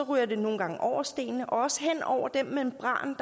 ryger det nogle gange over stenene og også hen over den membran